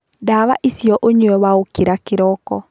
Ndawa icio ũnyue waũkĩra kĩriko.